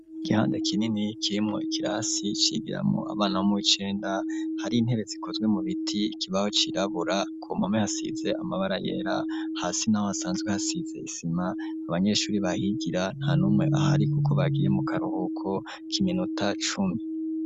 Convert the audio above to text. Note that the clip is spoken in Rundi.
Igihande kinini kirimwo ikirasi cigiramwo abana bo mu w'icenda hari intebe zikozwe mu biti ikibaho cirabura ku mpome hasize amabara yera hasi naho hasanzwe hasize isima abanyeshuri bahigira nta numwe ahari kuko bagiye mu karuhuko kiminota cumi.